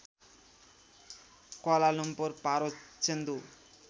Kuala Lumpur पारो चेन्दु